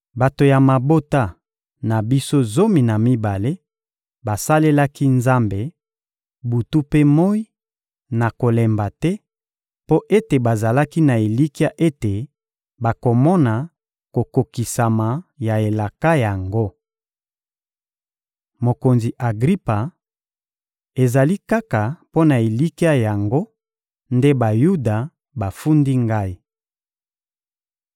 Bato ya mabota na biso zomi na mibale basalelaki Nzambe, butu mpe moyi, na kolemba te, mpo ete bazalaki na elikya ete bakomona kokokisama ya elaka yango. Mokonzi Agripa, ezali kaka mpo na elikya yango nde Bayuda bafundi ngai.